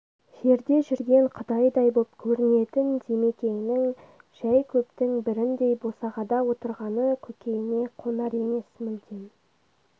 жерде жүрген құдайдай боп көрінетін димекеңнің жай көптің біріндей босағада отырғаны көкейне қонар емес мүлдем